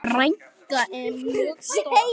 Frænka er mjög stolt.